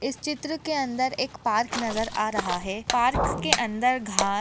इस चित्र के अंदर एक पार्क नजर आ रहा है पार्क के अंदर घा --